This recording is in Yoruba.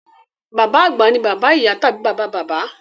Bàbá àgbà ni bàbá ìyá tàbí bàbá bàbá.